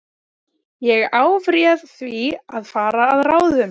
Ég afréð því að fara að ráðum